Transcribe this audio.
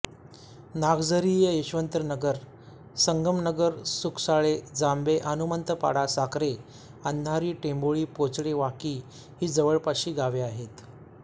नागझरीयशवंतनगर संगमनगर सुकसाळे जांभे हनुमंतपाडा साखरे अंधारी टेंभोळी पोचडे वाकी ही जवळपासची गावे आहेत